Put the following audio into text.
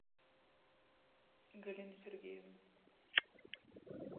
галину сергеевну